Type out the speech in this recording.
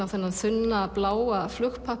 á þunnan þunnan bláan